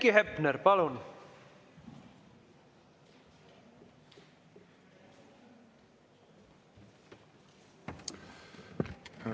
Heiki Hepner, palun!